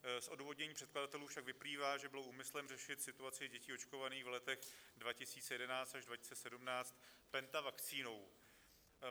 Z odůvodnění předkladatelů však vyplývá, že bylo úmyslem řešit situaci dětí očkovaných v letech 2011 až 2017 pentavakcínou.